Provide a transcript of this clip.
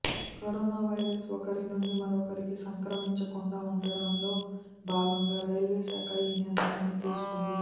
corona virus ఒకరి నుంచి మరొకరికి సంక్రమించకుండా ఉండటంలో భాగంగా రైల్వేశాఖ ఈ నిర్ణయాన్ని తీసుకుంది